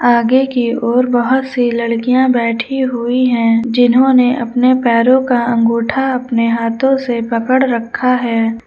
आगे की ओर बहोत सी लड़कियां बैठी हुई हैं जिन्होंने अपने पैरों का अंगूठा अपने हाथों से पकड़ रखा है।